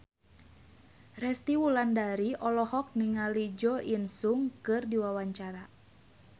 Resty Wulandari olohok ningali Jo In Sung keur diwawancara